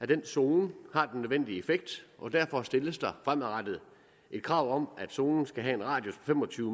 den zone har den nødvendige effekt og derfor stilles der fremadrettet et krav om at zonen skal have en radius på fem og tyve